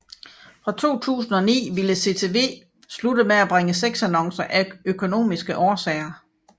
Fra 2009 ville CTW slutte med bringe sexannoncer af økonomiske årsager